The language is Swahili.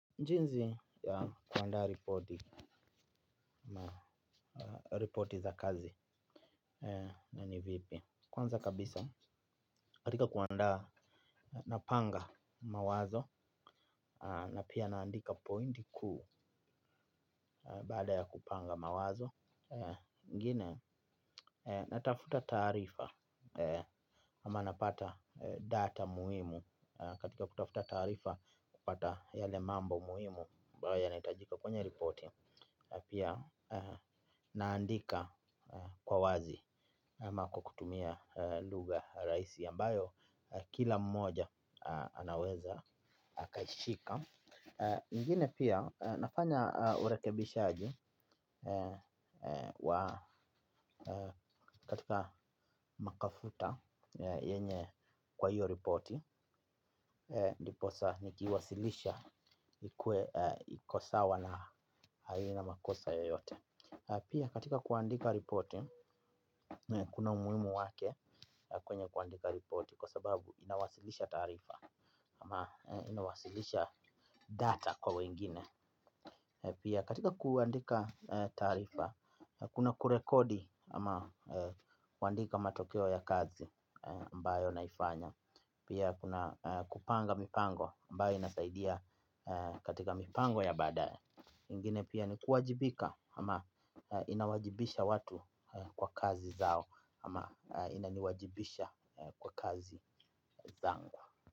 Jinzi ya kuandaa ripoti za kazi na nivipi. Kwanza kabisa katika kuandaa napanga mawazo na pia naandika pointi kuu baada ya kupanga mawazo ngine natafuta taarifa ama napata data muhimu katika kutafuta taarifa kupata yale mambo muhimu ambayo yanayohitajika kwenye ripoti. Pia naandika kwa wazi ama kwa kutumia lugha rahisi ambayo kila mmoja anaweza akaishika ingine pia nafanya urekebishaji katika makafuta yenye kwa hiyo ripoti. Ndiposa niki wasilisha ikuwe iko sawa na haina makosa yoyote. Pia katika kuandika ripoti, kuna umuhimu wake kwenye kuandika ripoti kwa sababu inawasilisha taarifa ama inawasilisha data kwa wengine. Pia katika kuandika taarifa hakuna kurekodi ama kuandika matokeo ya kazi ambayo naifanya pia kuna kupanga mipango ambayo inasaidia katika mipango ya baadaye. Ngine pia ni kuwajibika ama inawajibisha watu kwa kazi zao ama inaniwajibisha kwa kazi zangu.